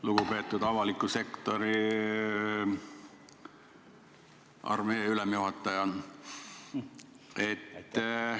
Lugupeetud avaliku sektori armee ülemjuhataja!